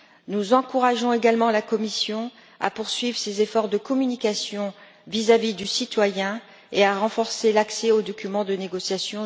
Nous encourageons également la Commission à poursuivre ses efforts de communication vis à vis du citoyen et à renforcer l'accès aux documents de négociation.